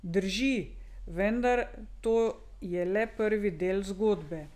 Drži, vendar to je le prvi del zgodbe.